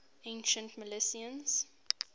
ancient milesians